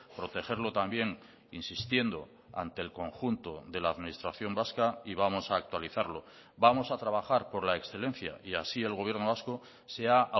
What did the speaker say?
protegerlo también insistiendo ante el conjunto de la administración vasca y vamos a actualizarlo vamos a trabajar por la excelencia y así el gobierno vasco se ha